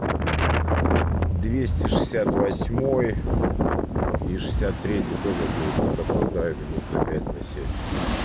двести шестьдесят восьмой и шестьдесят третий тоже будет под опоздаю минут на пять на семь